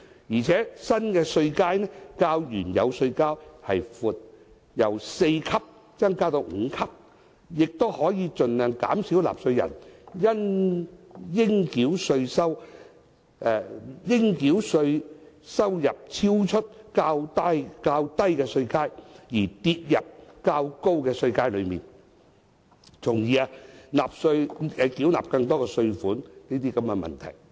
此外，新稅階較原有稅階為闊，由4級增至5級，亦可以盡量減少納稅人由於應繳稅收入超出較低稅階，跌入較高稅階而須繳納更多稅款的問題。